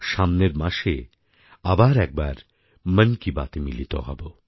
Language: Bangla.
সামনের মাসে আবার একবার মন কি বাতএ মিলিত হব